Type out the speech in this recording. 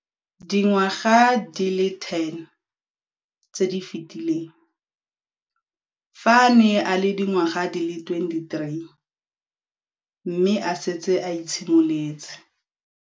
Dingwaga di le 10 tse di fetileng, fa a ne a le dingwaga di le 23 mme a setse a itshimoletse